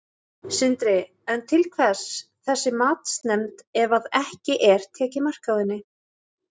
Sindri: En til hvers þessi matsnefnd ef að ekki er tekið mark á henni?